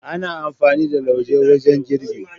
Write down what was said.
Ana amfani da lauje wajen girbi.